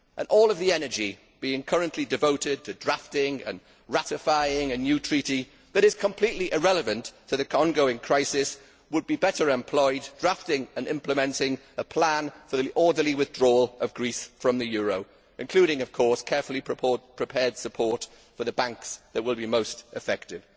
All of the energy currently being devoted to drafting and ratifying a new treaty that is completely irrelevant to the ongoing crisis would be better employed drafting and implementing a plan for the orderly withdrawal of Greece from the euro, including carefully prepared support for the banks that will be most affected.